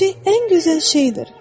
Çiçək ən gözəl şeydir.